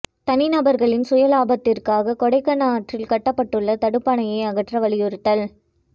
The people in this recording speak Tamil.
தனி நபா்களின் சுய லாபத்துக்காக கொடகனாற்றில் கட்டப்பட்டுள்ள தடுப்பணையை அகற்ற வலியுறுத்தல்